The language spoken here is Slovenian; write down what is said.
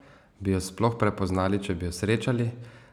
Bi jo sploh prepoznali, če bi jo srečali?